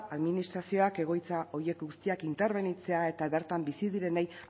administrazioak egoitza horiek guztiak interbenitzea eta bertan bizi direnei